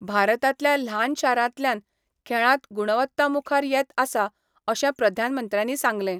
भारतांतल्या ल्हान शारांतल्यान खेळांत गुणवत्ता मुखार येत आसा अशें प्रधानमंत्र्यांनी सांगलें.